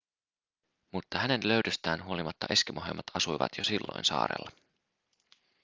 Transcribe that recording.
mutta hänen löydöstään huolimatta eskimoheimot asuivat jo silloin saarella